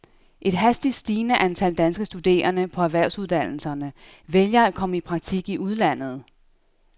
Et hastigt stigende antal danske studerende på erhvervsuddannelserne vælger at komme i praktik i udlandet.